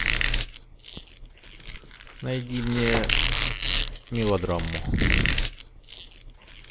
найди мне мелодраму